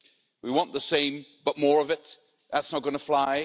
We want the same, but more of it, that's not going to fly.